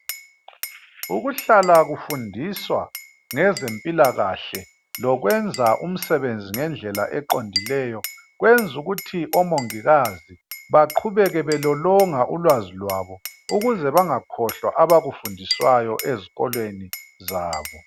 Ukuhlala okufundiswa ngeze mpilakahle lokwenza umsebenzi ngendlela eqondileyo kwenza ukuthi omongikazi baqhubeke belolonga ulwazi lwabo ukuze bengakhohlwa abakufundiswayo esikolweni zabo